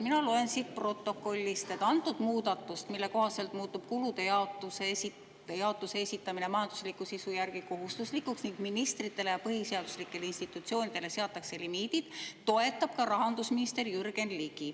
Mina loen siit protokollist, et muudatust, mille kohaselt muutub kulude jaotuse esitamine majandusliku sisu järgi kohustuslikuks ning ministritele ja põhiseaduslikele institutsioonidele seatakse limiidid, toetab ka rahandusminister Jürgen Ligi.